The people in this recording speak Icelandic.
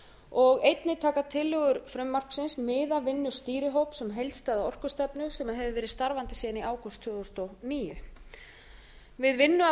og einnig taka tillögur frumvarpsins mið af vinnu stýrihóps um heildstæða orkustefnu sem hefur verið starfandi síðan í ágúst tvö þúsund og níu við vinnu að